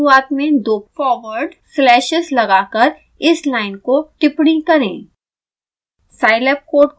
line की शुरुआत में दो फॉरवर्ड स्लैशेस लगाकर इस लाइन को टिपण्णी करें